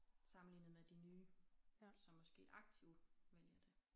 Sammenlignet med de nye som måske aktiv vælger det